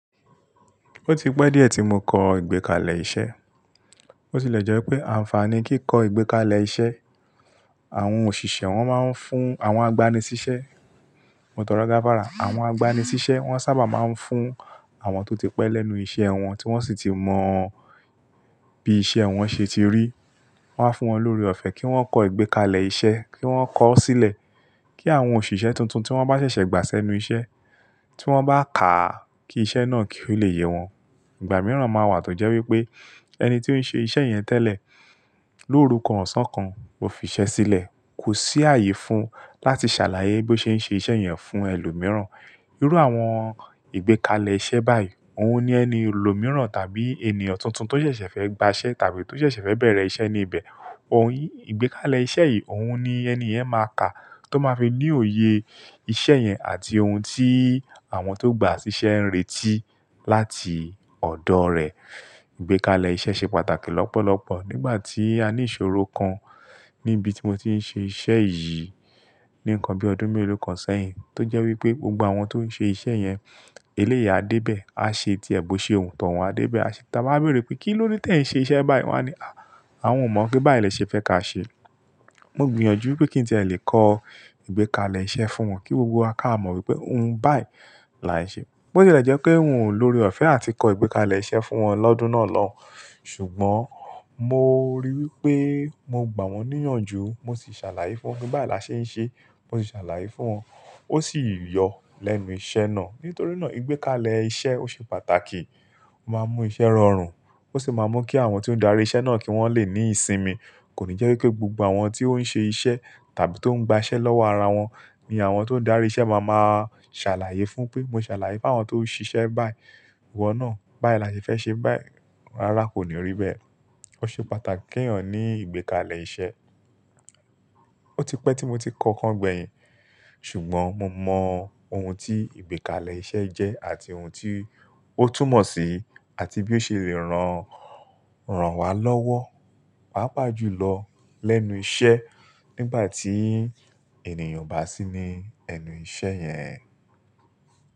Ó ti pẹ́ díẹ̀ tí mo kọ ìgbékalẹ̀ iṣẹ́. Ó tì lẹ̀ jẹ́ pé àǹfààní kí í kọ ìgbékalẹ̀ iṣẹ́. Àwọn òṣìṣẹ́ wọn máa ń fún àwọn agbani-síṣẹ́, mo tọrọ gáfárà, àwọn agbani-síṣẹ́ wọn sábà máa ń fún àwọn tó ti pẹ́ lẹ́nu iṣẹ́ wọn tí wọ́n sì ti mọ bí iṣẹ́ wọn ṣe ti rí. Wọ́n á fún wọn lóre ọ̀fẹ́ kí wọ́n kọ ìgbékalẹ̀ iṣẹ́, kí wọ́n kọ ó sílẹ̀ kí àwọn òṣìṣẹ́ tuntun tí wọ́n bá ṣẹ̀ṣẹ̀ gbà sẹ́nu iṣẹ́, tí wọ́n bá ká á kí iṣẹ́ náà kí ó le yẹ wọn. Ìgbà mìíràn máa wà tó jẹ́ wípé ẹni tí ó ń ṣe iṣẹ́ yẹn tẹ́lẹ̀ lóru kàn ọ̀sán kan, ó fi ṣẹ́ sílẹ̀, kò sí ààyè fún un láti ṣàlàyé bí ó ṣe ń ṣe iṣẹ́ yẹn fún ẹlòmíràn. Irú àwọn ìgbékalẹ̀ iṣẹ́ báyìí ohun ni ẹni ọlòmíràn tàbí ènìyàn tuntun tó ṣẹ̀ṣẹ̀ fẹ́ gbà aṣẹ tàbí tó ṣẹ̀ṣẹ̀ fẹ́ bẹ̀rẹ̀ iṣẹ́ ní ibẹ̀. Ohun yìí, ìgbékalẹ̀ iṣẹ́ yìí ohun ni ẹniyẹn máa kà á tó máa fi ní òye iṣẹ́ yẹn àti ohun tí àwọn tó gba ṣíṣe ń retí láti ọ̀dọ̀ rẹ̀. Ìgbékalẹ̀ iṣẹ́ ṣe pàtàkì lọ́pọ̀lọpọ̀ nígbà tí a ní ìṣòro kan níbi tí mo ti ń ṣe iṣẹ́ yìí. Ni nǹkan bí ọdún mélòó kan sẹ́yìn tó jẹ́ wípé gbogbo àwọn tó ń ṣe iṣẹ́ yẹn eléyi à dé bẹ́ẹ̀, a ṣe tiẹ̀ bo ṣe wu tọ̀un a dé bẹ́ẹ̀, a ṣe ta báa béèrè pé kí ló dé tẹ̀ ń ṣe iṣẹ́ báyìí? Wọ́n á ní, "à, àwọn ò mọ̀ pé báyìí lẹṣẹ fẹ́ ka ṣe." Mo gbìyànjú wípé kí n tẹ̀ lé kọ ìgbékalẹ̀ iṣẹ́ fún wọn kí gbogbo wa ká mọ̀ wípé ohun báyìí là ń ṣe. Bo tì lẹ̀ jẹ́ pé ń o lóre ọ̀fẹ́ àti kọ ìgbékalẹ̀ iṣẹ́ fún wọn lọ́dún náà lọ́. Ṣùgbọ́n mo ríi wípé mo gbà wọ́n níyànjú, mo sì ṣàlàyé fún wọn pe báyìí la ṣe ń ṣe, mo sì ṣàlàyé fún wọn. Ó sì yọ lẹ́nu iṣẹ́ náà. Nítorínà ìgbékalẹ̀ iṣẹ́ ó ṣe pàtàkì, ó máa ń mú iṣẹ́ rọrùn, ó sì máa ń mú kí àwọn tí ó ń darí iṣẹ́ náà kí wọ́n lè ní ìsinmi. Kò ní jẹ́ wípé gbogbo àwọn tí ó ń ṣe iṣẹ́ tàbí tó ń gba ṣẹ́ lọ́wọ́ ara wọn ni àwọn tó ń darí iṣẹ́ máa máa ṣàlàyé fún pé, "mo ṣàlàyé fún àwọn tó ń ṣiṣẹ́ báyìí, ìwọ náà báyìí là ṣe fẹ́ ṣe báyìí." Rárá, kò ní rí bẹ́ẹ̀. Ó ṣe pàtàkì ki èèyàn ní ìgbékalẹ̀ iṣẹ́. Ó ti pẹ́ tí mo ti kọ ọ̀kan gbẹ̀yìn, ṣùgbọ́n mo mọ ohun tí ìgbékalẹ̀ iṣẹ́ jẹ́ àti ohun tí ó túmọ̀ sí àti bí ó ṣe lè ran, ran wa lọ́wọ́, pàápàá jùlọ lẹ́nu iṣẹ́ nígbà tí ènìyàn o bá sí ní ẹnu iṣẹ́ yẹn.